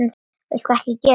Viltu ekki gera það!